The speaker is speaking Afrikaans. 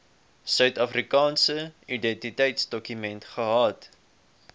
suidafrikaanse identiteitsdokument gehad